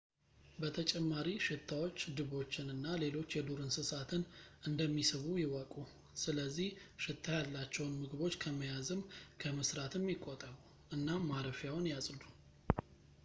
በተጨማሪ ሽታዎች ድቦችን እና ሌሎች የዱር እንስሳትን እንደሚስቡ ይወቁ ስለዝህ ሽታ ያላቸውን ምግቦች ከመያዝም ከመስራትም ይቆጠቡ እናም ማረፊያዎን ያጽዱ